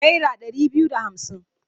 Naira ɗari biyu da hamsin.